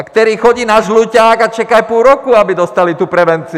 A kteří chodí na Žluťák a čekají půl roku, aby dostali tu prevenci!